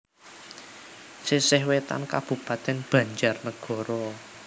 Sisih Wetan Kabupatèn BanjarNagara